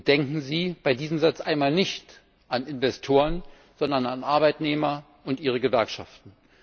Denken Sie bei diesem Satz einmal nicht an Investoren, sondern an Arbeitnehmer und ihre Gewerkschaften!